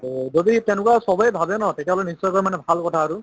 তʼ যদি তেনেকুৱা চবে ভালে ন তেতিয়াহলে নিশ্চয় কৈ ভাল কথা আৰু